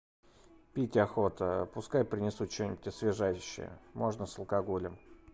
пить охота пускай принесут что нибудь освежающее можно с алкоголем